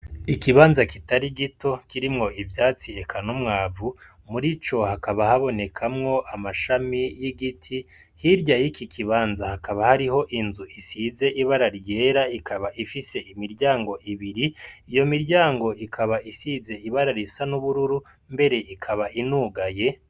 Ikibanza kitari gito kirimwo ivyatsi eka n'umwavu murico hakaba habonekamwo amashami y'igiti hirya yiki kibanza hakaba hariho inzu isize ibara ryera ikaba ifise imiryango ibiri, iyo miryango ikaba isize ibara risa n'ubururu mbere ikaba inugaye.